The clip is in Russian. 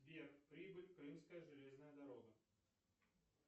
сбер прибыль крымская железная дорога